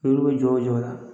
Olu bɛ jɔ o jɔ la